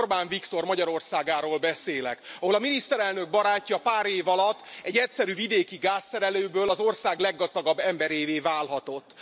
Igen, Orbán Viktor Magyarországáról beszélek, ahol a miniszterelnök barátja pár év alatt egyszerű vidéki gázszerelőből az ország leggazdagabb emberévé válhatott.